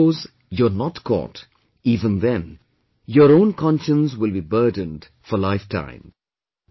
And suppose, you are not caught, even then your own conscience will be burdened for lifetime